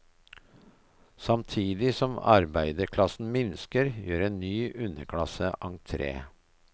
Samtidig som arbeiderklassen minsker, gjør en ny underklasse entre.